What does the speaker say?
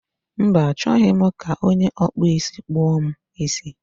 Mba, achọghị m ka onye ọkpụ isi kpụọ m isi